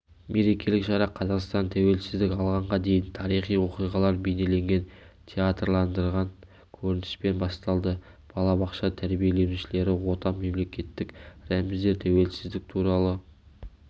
мерекелік шара қазақстан тәуелсіздік алғанға дейінгі тарихи оқиғалар бейнеленген театрландырылған көрініспен басталды балабақша тәрбиеленушілері отан мемлекеттік рәміздер тәуелсіздік туралы